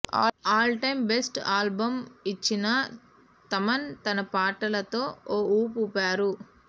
all time best album ఇచ్చిన థమన్ తన పాటలతో ఓ ఊపు ఊపారు